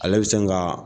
Ale bɛ sin ka